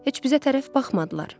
Heç bizə tərəf baxmadılar.